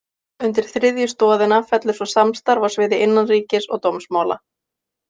Undir þriðju stoðina fellur svo samstarf á sviði innanríkis- og dómsmála.